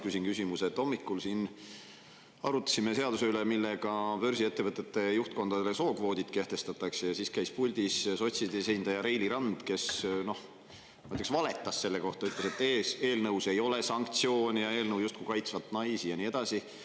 Hommikul siin arutasime üle, millega börsiettevõtete juhtkondadele sookvoodid kehtestatakse, ja siis käis puldis sotside esindaja Reili Rand, kes noh, ma ütleks, valetas selle kohta, ütles, et eelnõus ei ole sanktsioone ja eelnõu justkui kaitsvat naisi ja nii edasi.